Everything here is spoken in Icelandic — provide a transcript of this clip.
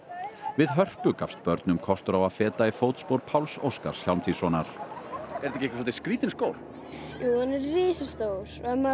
við Hörpu gafst börnum kostur á að feta í fótspor Páls Óskars Hjálmtýssonar er þetta ekki svolítið skrítinn skór jú hann er risastór ef maður